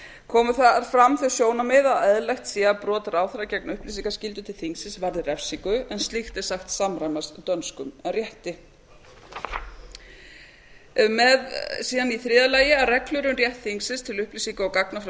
komu þar fram þau sjónarmið að eðlilegt sé að brot ráðherra gegn upplýsingaskyldu til þingsins varði refsingu en slíkt er sagt samræmast dönskum rétti í þriðja lagi að reglur um rétt þingsins til upplýsinga og gagna frá